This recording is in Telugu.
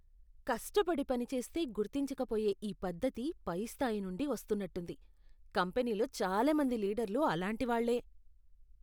కష్టపడి పనిచేస్తే గుర్తించక పోయే ఈ పద్ధతి పై స్థాయి నుండి వస్తున్నట్టుంది, కంపెనీలో చాలా మంది లీడర్లు అలాంటివాళ్ళే.